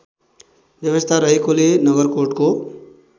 व्यवस्था रहेकोले नगरकोटको